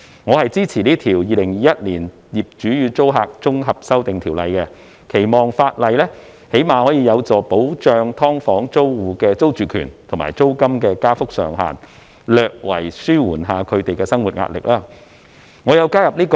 我支持這項《2021年業主與租客條例草案》，期望法例最少有助保障"劏房"租戶的租住權及租金加幅上限，略為紓緩他們的生活壓力。